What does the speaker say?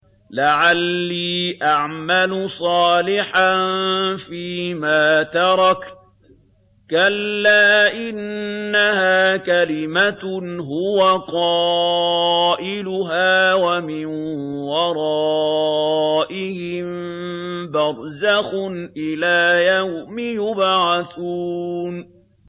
لَعَلِّي أَعْمَلُ صَالِحًا فِيمَا تَرَكْتُ ۚ كَلَّا ۚ إِنَّهَا كَلِمَةٌ هُوَ قَائِلُهَا ۖ وَمِن وَرَائِهِم بَرْزَخٌ إِلَىٰ يَوْمِ يُبْعَثُونَ